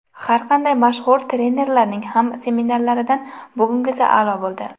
Har qanday mashhur trenerlarning ham seminarlaridan bugungisi a’lo bo‘ldi!